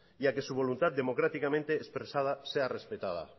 y a que su voluntad democráticamente expresada sea respetada